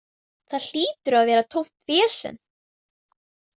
Það hlýtur að hafa verið tómt vesen.